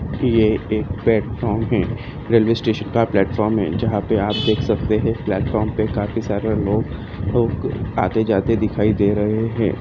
यह एक प्लेटफॉर्म है रेलवे स्टेशन का प्लेटफार्म जहां पर आप देख सकते हैं प्लेटफार्म पर काफी सारे लोग आते जाते दिखाई दे रहे हैं।